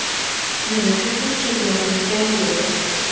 Men uchun bu chempionlik jangi edi.